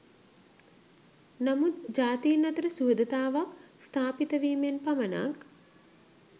නමුත් ජාතීන් අතර සුහදතාවක් ස්ථාපිත වීමෙන් පමණක්